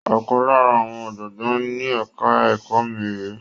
Ọ̀kan lára àwọn ọ̀jọ̀gbọ́n ní ẹ̀ka ẹ̀kọ́ mi rèé.